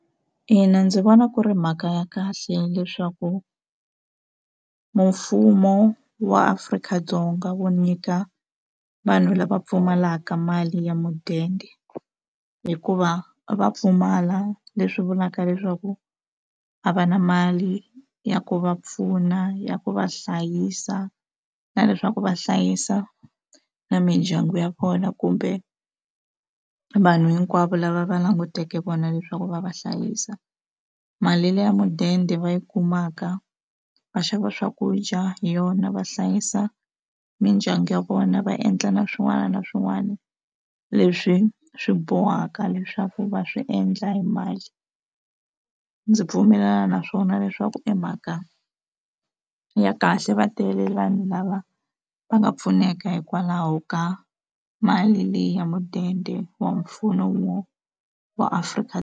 Ina ndzi vona ku ri mhaka ya kahle leswaku mfumo wa Afrika-Dzonga wu nyika vanhu lava pfumalaka mali ya mudende hikuva va pfumala leswi vulaka leswaku a va na mali ya ku va pfuna ya ku va hlayisa na leswaku va hlayisa na mindyangu ya vona kumbe vanhu hinkwavo lava va languteke vona leswaku va va hlayisa mali leyi ya mudende va yi kumaka va xava swakudya hi yona va hlayisa mindyangu ya vona va endla na swin'wana na swin'wana leswi swi bohaka leswaku va swi endla hi mali ndzi pfumelelana naswona leswaku i mhaka ya kahle va tele vanhu lava va nga pfuneka hikwalaho ka mali leyi ya mudende wa mfumo wa Afrika.